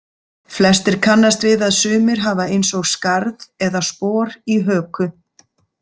Flestir kannast við að sumir hafa eins og skarð eða spor í höku.